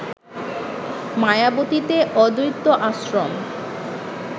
মায়াবতীতে অদ্বৈত আশ্রম